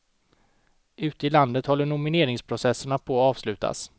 Ute i landet håller nomineringsprocesserna på att avslutas.